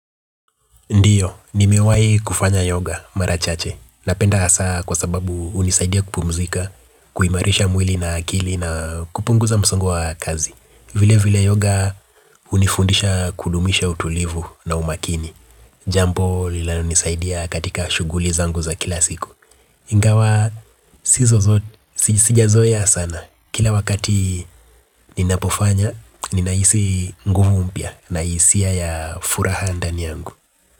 Ndiyo, nimewahi kufanya yoga mara chache. Napenda hasa kwa sababu hunisaidia kupumzika, kuimarisha mwili na akili na kupunguza msongo wa kazi. Vile vile yoga unifundisha kudumisha utulivu na umakini. Jambo linayonisaidia katika shuguli zangu za kila siku. Ingawa, sijazoea sana. Kila wakati ninapofanya, ninahisi nguvu mpya na hisia ya furaha ndani yangu.